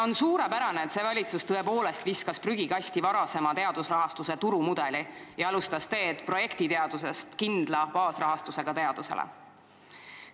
On suurepärane, et see valitsus on visanud prügikasti varasema teadusrahastuse turumudeli ja on alustanud teed projektiteadusest kindla baasrahastusega teaduse poole.